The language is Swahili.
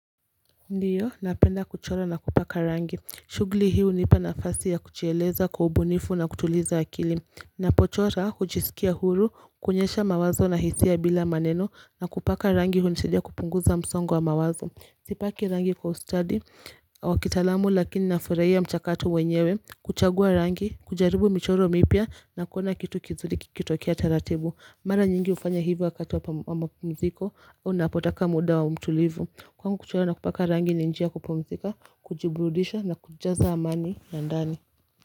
Ndiyo, napenda kuchora na kupaka rangi. Shughuli hii hunipa nafasi ya kujiieleza kwa ubunifu na kutuliza akili. Ninapochora, hujisikia huru, kuonyesha mawazo na hisia bila maneno, na kupaka rangi hunisidia kupunguza msongo wa mawazo. Sipaki rangi kwa ustadi, wa kitahalamu, lakini nafurahia mchakato wenyewe, kuchagua rangi, kujaribu michoro mipya, na kuona kitu kizuri kikitokea taratibu. Mara nyingi ufanya hivyo wakati wa mapumziko. Unapotaka muda mtulivu. Kwangu kuchora na kupaka rangi ni njia ya kupumzika, kujiburudisha na kujaza amani ya ndani.